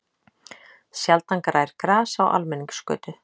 Sjaldan grær gras á almenningsgötu.